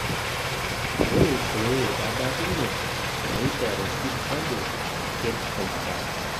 Ore pee ebaki ne neiteru Kipchoge aked shumata